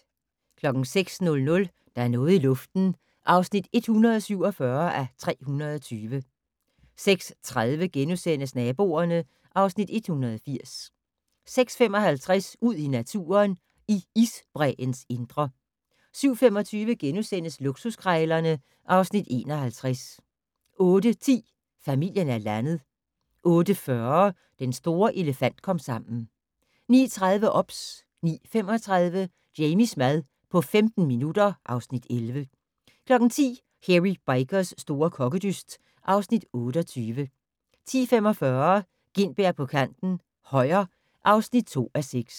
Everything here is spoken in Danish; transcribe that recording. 06:00: Der er noget i luften (147:320) 06:30: Naboerne (Afs. 180)* 06:55: Ud i naturen: I isbræens indre 07:25: Luksuskrejlerne (Afs. 51)* 08:10: Familien er landet 08:40: Den store elefant-komsammen 09:30: OBS 09:35: Jamies mad på 15 minutter (Afs. 11) 10:00: Hairy Bikers' store kokkedyst (Afs. 28) 10:45: Gintberg på kanten - Højer (2:6)